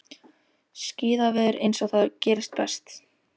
Skíðaveður eins og það gerist best.